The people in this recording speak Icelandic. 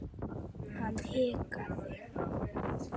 Hann hikaði.